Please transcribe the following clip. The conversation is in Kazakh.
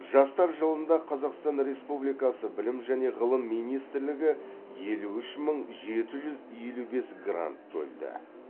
жастар жылында қазақстан республикасы білім және ғылым министрлігі елу үш мың жеті жүз елу бес грант бөлді